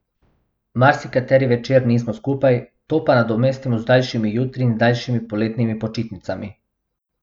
Marsikateri večer nismo skupaj, to pa nadomestimo z daljšimi jutri in daljšimi poletnimi počitnicami.